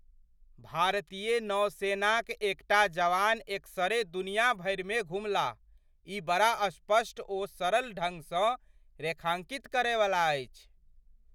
भारतीय नौसेनाक एकटा जवान एकसरे दुनिया भरिमे घुमलाह। ई बड़ा स्पष्ट ओ सरल ढङ्गसँ रेखाङ्कित करयवला अछि!